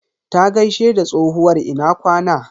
Ta gaishe da tsohuwar "Ina kwana".